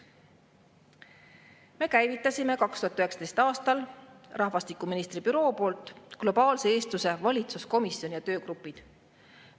Me käivitasime 2019. aastal rahvastikuministri büroo poolt globaalse eestluse valitsuskomisjoni ja töögrupid.